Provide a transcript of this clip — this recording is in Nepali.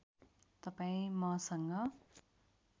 तपाईँ मसँग